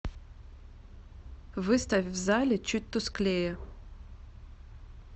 выставь в зале чуть тусклее